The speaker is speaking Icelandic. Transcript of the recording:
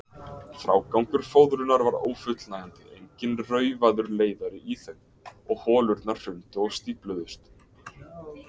Frágangur fóðrunar var ófullnægjandi, enginn raufaður leiðari í þeim, og holurnar hrundu og stífluðust.